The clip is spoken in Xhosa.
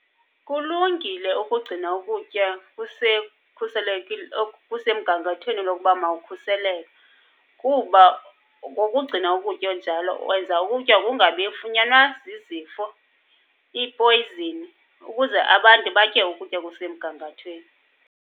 Kulungile ukugcina ukutya kukhuselekile, kusemgangathweni lokuba mawukhuseleke kuba ngokugcina ukutya njalo, wenza ukutya kungabi funyanwa zizifo, iipoyzini ukuze abantu batye ukutya okusemgangathweni.